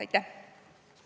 Aitäh!